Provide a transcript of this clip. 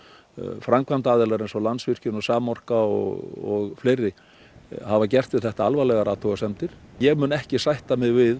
framkvæmdaaðilar eins og Landsvirkjun Samorka og fleiri hafa gert við þetta alvarlegar athugasemdir ég mun ekki sætta mig við